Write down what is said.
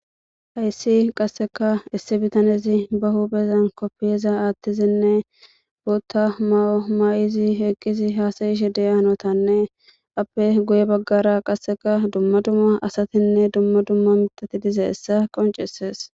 Hayisi qasekka issi bitanezi ba huphezani kopiyaza woththidinne mayo mayidi eqidi hasaidhe deiza hanotanne appe guye bagara qase dumma dumma asatinne dumma dumma miththati dizayisa qoncisesi